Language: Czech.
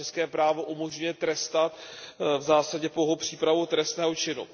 zda české právo umožňuje trestat v zásadě pouhou přípravu trestného činu.